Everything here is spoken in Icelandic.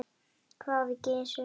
hváði Gizur.